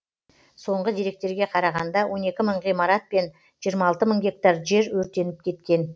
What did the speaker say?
соңғы деректерге қарағанда он екі мың ғимарат пен жиырма алты мың гектар жер өртеніп кеткен